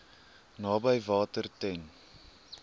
naby water ten